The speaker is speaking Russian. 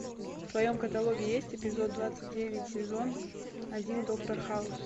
в твоем каталоге есть эпизод двадцать девять сезон один доктор хаус